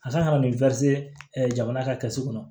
A ka kan ka na ni jamana ka kɛsu kɔnɔ